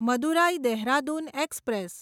Madurai Dehradun express